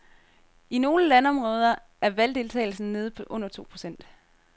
I nogle landområder er valgdeltagelsen nede på under to procent.